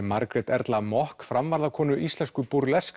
Margrét Erla Maack íslensku